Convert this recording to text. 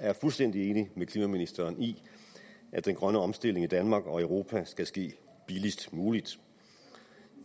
er fuldstændig enig med klimaministeren i at den grønne omstilling i danmark og europa skal ske billigst muligt